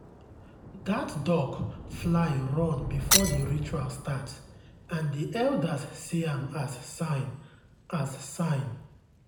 that duck fly run before the ritual start and the elders see am as sign. as sign.